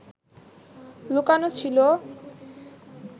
লুকানো ছিল